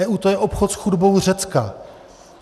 EU - to je obchod s chudobou Řecka.